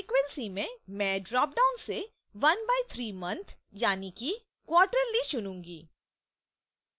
frequency में मैं dropdown से ⅓ months i e quarterly चुनूँगी